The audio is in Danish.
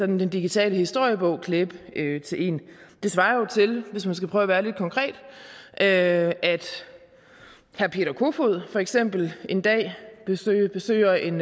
den digitale historiebog klæbe til en det svarer til hvis man skal prøve at være lidt konkret at herre peter kofod for eksempel en dag besøger en